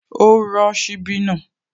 Ó rọ́ ṣíbí náà